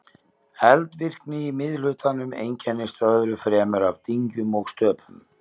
Eldvirkni í miðhlutanum einkennist öðru fremur af dyngjum og stöpum.